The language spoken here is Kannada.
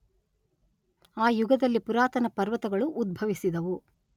ಆ ಯುಗದಲ್ಲಿ ಪುರಾತನ ಪರ್ವತಗಳೂ ಉದ್ಭವಿಸಿದವು.